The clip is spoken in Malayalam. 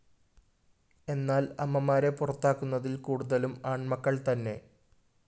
എന്നാല്‍ അമ്മമാരെ പുറത്താക്കുന്നതില്‍ കൂടുതലും ആണ്‍മക്കള്‍ത്തന്നെ